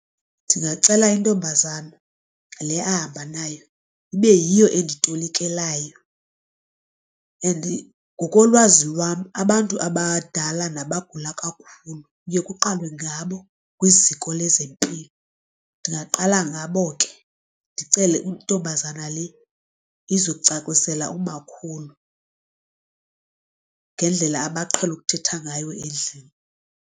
Ndingacela intombazana le ahamba nayo ibe yiyo enditolikelayo and ngokolwazi lwam abantu abadala nabagula kakhulu kuye kuqalwe ngabo kwiziko lezempilo. Ndingaqala ngabo ke ndicele intombazana le izo cacisela umakhulu ngendlela abaqhele ukuthetha ngayo endlini.